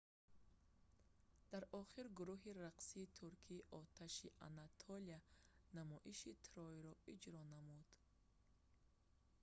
дар охир гурӯҳи рақсии туркии оташи анатолия намоиши трой"-ро иҷро намуд